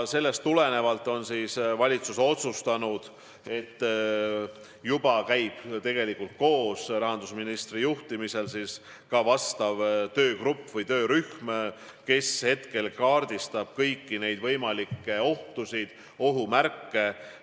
Sellest tulenevalt käib juba koos rahandusministri juhitav töörühm, kes kaardistab kõiki võimalikke ohtusid, ohumärke.